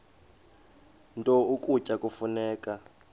nto ukutya kufuneka